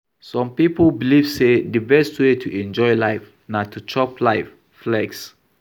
Some pipo belive sey di best wey to enjoy life na to chop life, flex